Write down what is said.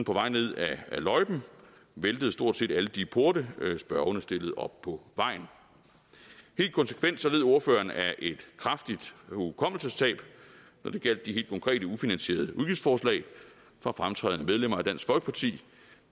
på vej ned ad løjpen væltede stort set alle de porte spørgerne stillede op på vejen helt konsekvent så led ordføreren af et kraftigt hukommelsestab når det gjaldt de helt konkrete ufinansierede udgiftsforslag fra fremtrædende medlemmer af dansk folkeparti